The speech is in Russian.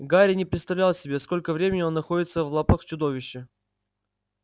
гарри не представлял себе сколько времени он находится в лапах чудовища